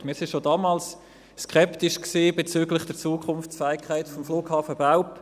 Wir waren schon damals skeptisch bezüglich der Zukunftsfähigkeit des Flughafens Belp.